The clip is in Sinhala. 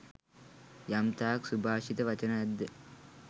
යම්තාක් සුභාෂිත වචන ඇද්ද.